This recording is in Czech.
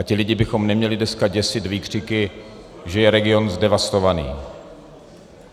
A ty lidi bychom neměli dneska děsit výkřiky, že je region zdevastovaný.